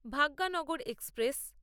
Bhagyanagar express